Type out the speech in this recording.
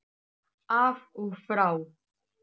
Af og frá.